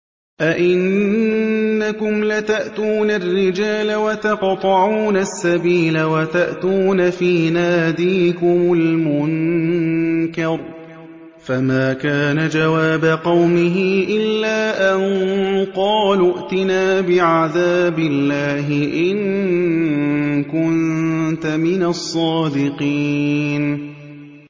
أَئِنَّكُمْ لَتَأْتُونَ الرِّجَالَ وَتَقْطَعُونَ السَّبِيلَ وَتَأْتُونَ فِي نَادِيكُمُ الْمُنكَرَ ۖ فَمَا كَانَ جَوَابَ قَوْمِهِ إِلَّا أَن قَالُوا ائْتِنَا بِعَذَابِ اللَّهِ إِن كُنتَ مِنَ الصَّادِقِينَ